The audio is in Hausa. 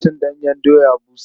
Ba a cin ɗanyen doya busa.